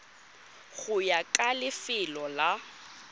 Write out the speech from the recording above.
go ya ka lefelo la